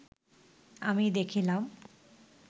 আমি দেখিলাম